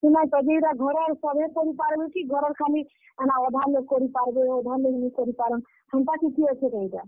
ସୁନତ ଯେ ଇଟା ଘରେ ସଭେ କରି ପାର୍ ବେ କି ଘରର୍ ଖାଲି, ଏନ୍ତା, ଅଧା ଲୋଗ୍ କରି ପାର୍ ବେ, ଅଧା ଲୋଗ୍ ନି କରି ପାରନ୍? ହେନ୍ତା କିଛି ଅଛେ କେଁ ଇଟା?